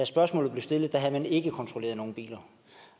spørgsmålet blev stillet havde man ikke kontrolleret nogen biler